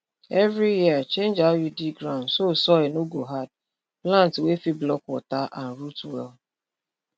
every year change how you dig ground so soil no go hard plant wey fit block water and root well